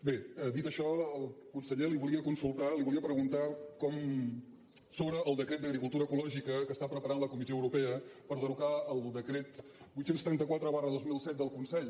bé dit això al conseller li volia consultar li volia preguntar sobre el decret d’agricultura ecològica que està preparant la comissió europea per derogar el decret vuit cents i trenta quatre dos mil set del consell